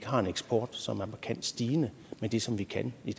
har en eksport som er markant stigende med det som vi kan i